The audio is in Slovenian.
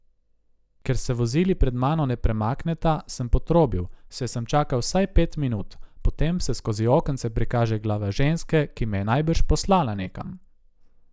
Ker se vozili pred mano ne premakneta, sem potrobil, saj sem čakal vsaj pet minut, potem se skozi okence prikaže glava ženske, ki me je najbrž poslala nekam.